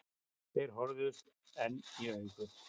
Þeir horfðust enn í augu.